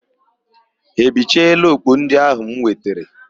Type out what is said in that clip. Ha ebichela okpu ndị áhụ̀ m wetere?